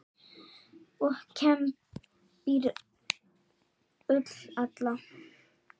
og kembir ull nýja.